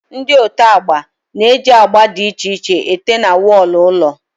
Ndị ote agba na eji agba dị iche iche ete na wọlụ ụlọ